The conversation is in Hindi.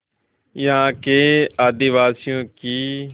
यहाँ के आदिवासियों की